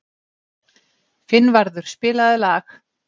Finnvarður, spilaðu lag.